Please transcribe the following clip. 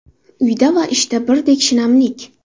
Uyda va ishda birdek shinamlik?